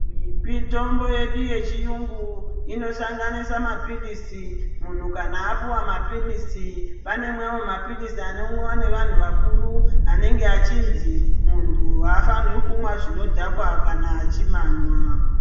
Mitombo yedu yechiyungu inosanganisa mapilizi munhu kana apuwa mapilizi pane mamwe mapilizi anomwiwa neanhu akuru anenge achinzi munhu afani kunwa zvinodhaka kana achimanwa.